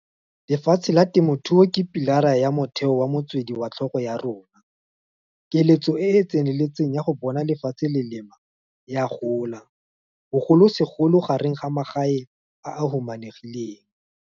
Lefatshe la temothuo ke pi lara ya motheo wa motswedi wa tlhago wa rona. Keletso e e tseneletseng ya go bona lefatshe go lema e a gola, bogolosegolo gareng ga magae a a humanegileng.